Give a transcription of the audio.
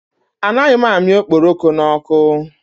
Anaghị amị okporoko n'ọkụ.